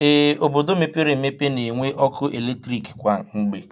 Ee, obodo mepere emepe na-enwe ọkụ eletrik kwa mgbe